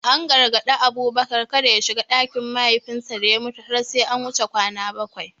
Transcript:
An gargadi Abubakar da kada ya shiga ɗakin mahaifinsa da ya mutu har sai an wuce kwana bakwai.